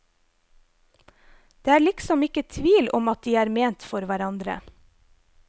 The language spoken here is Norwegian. Det er liksom ikke tvil om at de er ment for hverandre.